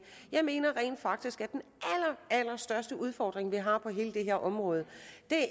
jeg mener rent faktisk at den allerstørste udfordring vi har på hele det her område